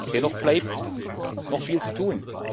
Dennoch bleibt noch viel zu tun.